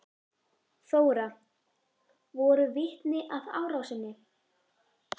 Þóra: Voru vitni að árásinni?